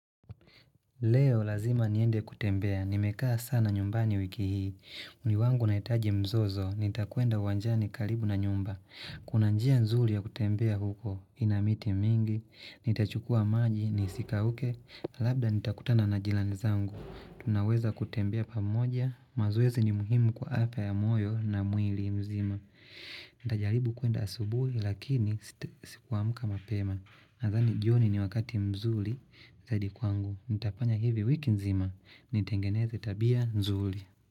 Leo lazima niende kutembea. Nimekaa sana nyumbani wiki hii. Mwili wangu unaitaji mzozo. Nitakwenda uwanjani kalibu na nyumba. Kuna njia nzuli ya kutembea huko. Ina miti mingi. Nitachukua maji nisikauke. Labda nitakutana na jilani zangu. Tunaweza kutembea pamoja. Mazoezi ni muhimu kwa apa ya moyo na mwili mzima. Ndajaribu kuenda asubuhi lakini si kuamka mapema. Nadhani jioni ni wakati mzuli zaidi kwangu. Nitapanya hivi wiki nzima ni tengeneze tabia nzuli.